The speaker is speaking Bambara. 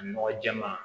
Nɔgɔ jɛman